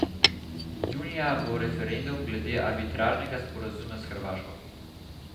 Junija bo referendum glede arbitražnega sporazuma s Hrvaško.